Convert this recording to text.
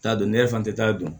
T'a don ne yɛrɛ fan tɛ t'a dɔn